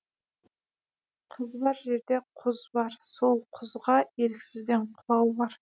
қыз бар жерде құз бар сол құзға еріксізден құлау бар